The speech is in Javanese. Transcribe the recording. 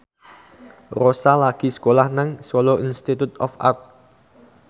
Rossa lagi sekolah nang Solo Institute of Art